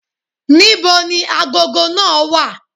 Ní bo ni agogo náà wà?